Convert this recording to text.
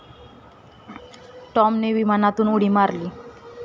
टॉमने विमानातून उडी मारली.